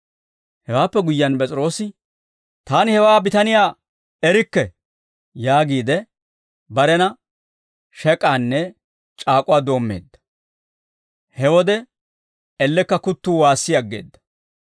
Hewaappe guyyiyaan P'es'iroosi, «Taani hewaa bitaniyaa erikke!» yaagiide, barena shek'aanne c'aak'uwaa doommeedda. He wode ellekka kuttuu waassi aggeedda.